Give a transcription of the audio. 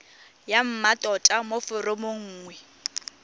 ya mmatota mo foromong nngwe